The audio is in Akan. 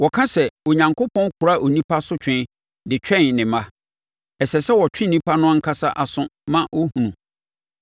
Wɔka sɛ, ‘Onyankopɔn kora onipa asotwe so de twɛn ne mma.’ Ɛsɛ sɛ ɔtwe ɔnipa no ankasa aso ma ɔhunu.